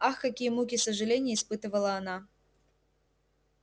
ах какие муки сожалений испытывала она